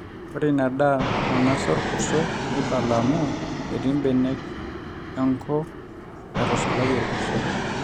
ore ina daa nainosa orkurto neibala amu etii mbenek enko naatusulayie orkurto